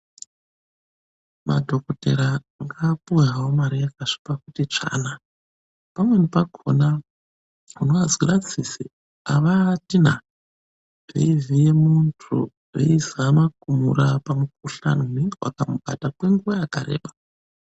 Madhokodheya ngaapuwe hawo mari yakasvipa kuti tsvaa naa, pamweni pakhona unoazwira tsitsi, avaati na, veivhiye muntu, veizama kumurapa mukhuhlani unenge wakamubata kwenguwa yakareba.